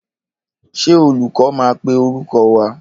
Ṣé olúkọ́ máa pè orúkọ wa?